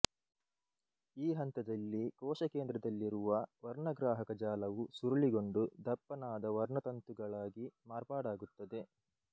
ಈ ಹಂತದಲ್ಲಿ ಕೋಶಕೇಂದ್ರದಲ್ಲಿರುವ ವರ್ಣಗ್ರಾಹಕ ಜಾಲವು ಸುರುಳಿಗೊಂಡು ದಪ್ಪನಾದ ವರ್ಣತಂತುಗಳಾಗಿ ಮಾರ್ಪಾಡಾಗುತ್ತದೆ